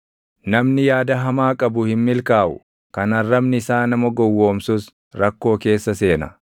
Namni yaada hamaa qabu hin milkaaʼu; kan arrabni isaa nama gowwoomsus rakkoo keessa seena.